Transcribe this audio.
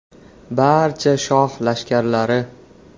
“Barcha shoh lashkarlari.